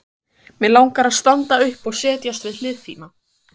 Mig langar að standa upp og setjast við hlið þína.